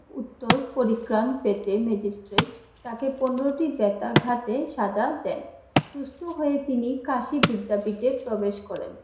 উত্তর পরি গ্রান দিতে ম্যাজিষ্ট্রেট তাকে পনেরোটি বেতা ঘাতে সাজা দেন, সুস্থ হয়ে তিনি কাশি বিদ্যাপীঠে প্রবেশ করেন।